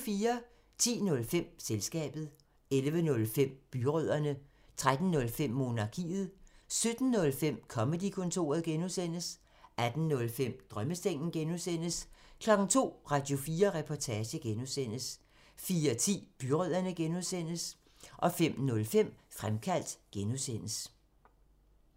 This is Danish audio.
10:05: Selskabet 11:05: Byrødderne 13:05: Monarkiet 17:05: Comedy-kontoret (G) 18:05: Drømmesengen (G) 02:00: Radio4 Reportage (G) 04:10: Byrødderne (G) 05:05: Fremkaldt (G)